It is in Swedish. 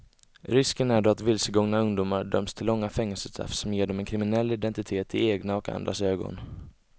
Risken är då att vilsegångna ungdomar döms till långa fängelsestraff som ger dem en kriminell identitet i egna och andras ögon.